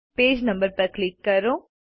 page number પર click કરો